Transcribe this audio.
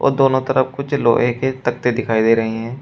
दोनों तरफ कुछ लोहे के तख्ते दिखाई दे रहे हैं।